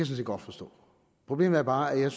set godt forstå problemet er bare at jeg